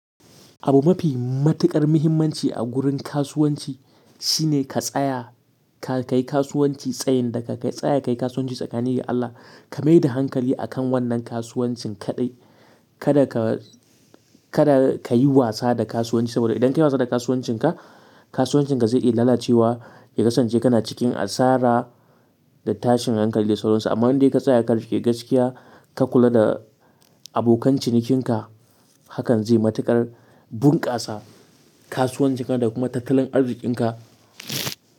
Abu mafi matuƙar muhimmanci a gurin kasuwanci shine ka tsaya, ka kai kasuwanci tsayin da ka tsaya ka yi kasuwanci tsakanin da Allah. Ka mai da hankali akan wannan kasuwancin kaɗai. Kada ka, kada ka yi wasa da kasuwanci saboda idan ka yi wasa da kasuwancinka, kasuwancinka zai iya lalacewa. Ya kasance kana cikin asara da tashin hankali da sauransu. Amma duk da yake ka tsaya ka riƙe gaskiya, ka kula da abokan cinikinka hakan zai matuƙar bunƙasa kasuwancinka da kuma tattalin arzikinka.